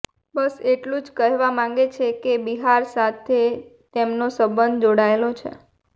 બસ એટલું જ કહેવા માંગે છે કે બિહાર સાથે એમનો સંબંધ જોડાયેલો છે